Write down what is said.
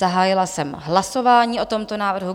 Zahájila jsem hlasování o tomto návrhu.